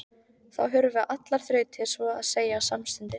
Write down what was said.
Þá hurfu allar þrautir svo að segja samstundis.